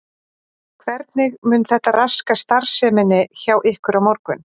Hvernig mun þetta raska starfseminni hjá ykkur á morgun?